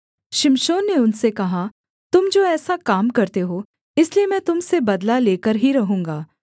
शिमशोन ने उनसे कहा तुम जो ऐसा काम करते हो इसलिए मैं तुम से बदला लेकर ही रहूँगा